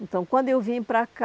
Então, quando eu vim para cá,